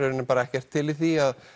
ekkert til í því